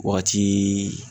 Wagatiii